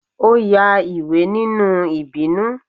o ya ìwé ninú ibinú